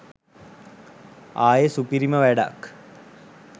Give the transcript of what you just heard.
ආයෙ සුපිරිම වැඩක් .